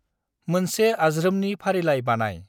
मोनसे आज्रोमनि फारिलाइ बानाय।